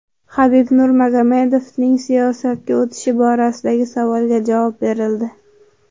Habib Nurmagomedovning siyosatga o‘tishi borasidagi savolga javob berildi.